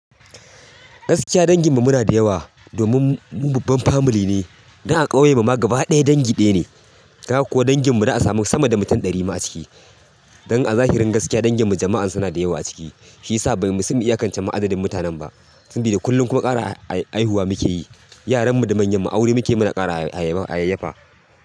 Gaskiya danginmu muna da yawa domin mu babban family ne. Dan a ƙauyen mu ma gaba ɗaya dangi ɗaya ne. Dan haka ko dangin mu za'a samu sama da mutun ɗari ma a ciki don a zahirin gaskiya danginmu jama'an suna da yawa a ciki shi yasa ba musan mai iyakacin ma adadin mutanen ba. Sabida kullum kuma ƙara a haihuwa muke yi. Yaranmu da manyanmu aure mukeyi muna ƙara ha yayyafa.